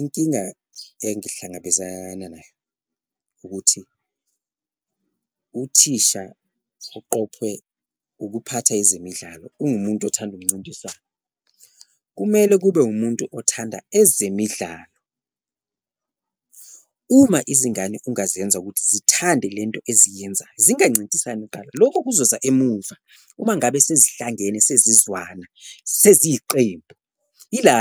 Inkinga engihlangabezana nayo ukuthi uthisha uqophwe ukuphatha ezemidlalo ungumuntu othanda umncintiswano, kumele kube umuntu othanda ezemidlalo, uma izingane ungaziyenza ukuthi zithande lento eziyenza zingancintisani kuqala lokho kuzoza emuva. Uma ngabe sezihlangene sezizwana seziyiqembu ila